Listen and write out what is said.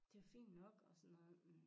Det jo fint nok og sådan noget